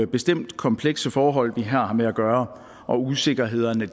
bestemt komplekse forhold vi har med at gøre og usikkerhederne